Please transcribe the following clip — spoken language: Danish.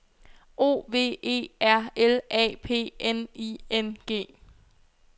O V E R L A P N I N G